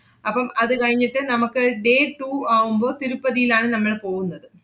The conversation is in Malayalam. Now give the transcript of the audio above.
അപ്പം അത് കഴിഞ്ഞിട്ട് നമ്മക്ക് day two ആവുമ്പോ തിരുപ്പതീലാണ് നമ്മള് പോവുന്നത്.